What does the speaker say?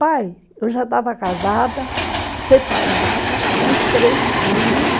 Pai, eu já estava casada, separada, com os três filhos.